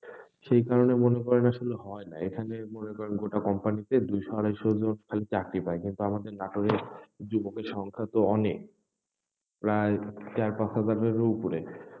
সেই কারণে মনে করেন আসলে হয়না, এখানে মনে করেন গোটা company তে দুইশো আড়াইশ জন খালি চাকরি পায়, কিন্তু আমাদের নাটোরের যুবকের সংখ্যা তো অনেক, প্রায় চার পাঁচ হাজারেরও উপরে,